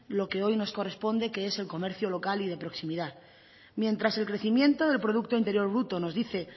lo que hoy nos corresponde que es el comercio local y de proximidad mientras el crecimiento del producto interior bruto nos dice